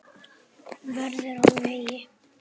Vörður á vegi.